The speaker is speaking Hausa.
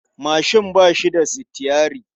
Mashin ba shi da sitiyyari.